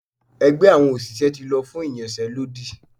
ẹgbẹ àwọn òṣìṣẹ́ ti lọ fún iyánsé lódí